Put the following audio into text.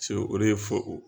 o de ye fo